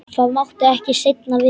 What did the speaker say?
Það mátti ekki seinna vera!